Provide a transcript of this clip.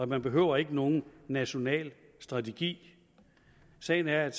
man behøver ikke nogen national strategi sagen er at